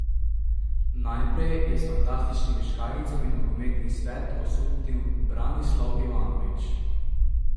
Najprej je s fantastičnimi škarjicami nogometni svet osupnil Branislav Ivanović.